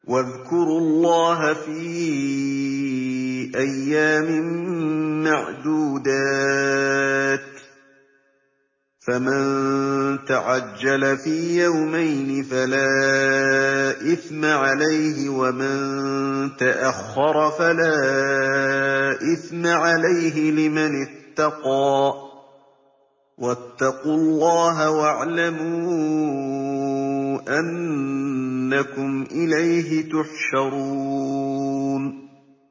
۞ وَاذْكُرُوا اللَّهَ فِي أَيَّامٍ مَّعْدُودَاتٍ ۚ فَمَن تَعَجَّلَ فِي يَوْمَيْنِ فَلَا إِثْمَ عَلَيْهِ وَمَن تَأَخَّرَ فَلَا إِثْمَ عَلَيْهِ ۚ لِمَنِ اتَّقَىٰ ۗ وَاتَّقُوا اللَّهَ وَاعْلَمُوا أَنَّكُمْ إِلَيْهِ تُحْشَرُونَ